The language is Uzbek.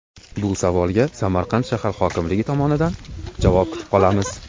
Bu savolga Samarqand shahar hokimligi tomonidan javob kutib qolamiz.